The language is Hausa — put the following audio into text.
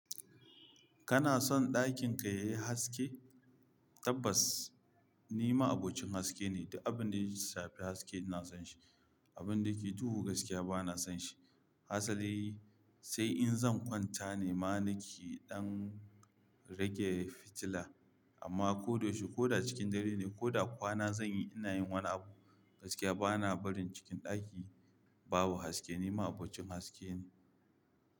Kana son ɗakin ka yayi haske? Tabbas ni ma'abocin haske ne, duk abin da ya shafi haske ina son shi. Abin da ke duhu gaskiya ba na son shi. Hasali sai in zan kwanta ne ma na ke ɗan rage fitila. Amma ko da yaushe ko da cikin dare ne ko da kwana zan yi, ina yin wani abu gaskiya ba na barin cikin ɗaki babu haske, ni ma abocin haske ne.